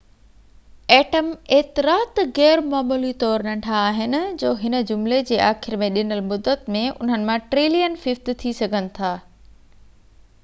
atom ايترا ته غيرمعمولي طور ننڍا آهن جو هن جملي جي آخر ۾ ڏنل مدت ۾ انهن مان ٽرلين ففٽ ٿي سگھن ٿا